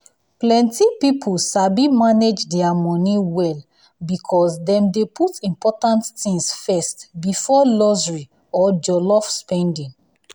plenty people sabi manage their money well because dem dey put important things first before luxury or jollof spending.